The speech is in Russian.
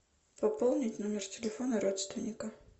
пополнить номер телефона родственника